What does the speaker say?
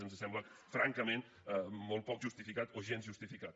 ens sembla francament molt poc justificat o gens justificat